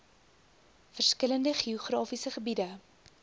verskillende geografiese gebiede